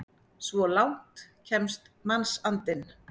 Svo langt kemst mannsandinn!